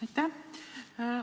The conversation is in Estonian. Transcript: Aitäh!